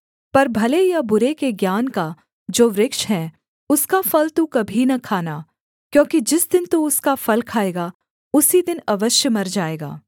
पर भले या बुरे के ज्ञान का जो वृक्ष है उसका फल तू कभी न खाना क्योंकि जिस दिन तू उसका फल खाएगा उसी दिन अवश्य मर जाएगा